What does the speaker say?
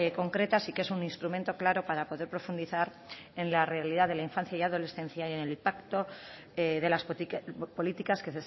concretas y que es un instrumento claro para poder profundizar en la realidad de la infancia y adolescencia y en el impacto de las políticas que